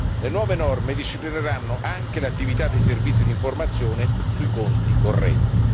Le nuove norme disciplineranno anche l'attività dei servizi di informazione sui conti correnti.